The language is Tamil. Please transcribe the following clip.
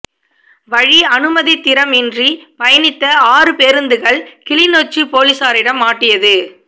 வழி அனுமதித்திரம் இன்றி பயணித்த ஆறு பேருந்துகள் கிளிநொச்சி பொலிசாரிடம் மாட்டியது